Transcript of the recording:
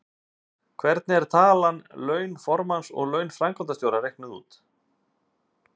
Hvernig er talan laun formanns og laun framkvæmdastjóra reiknuð út?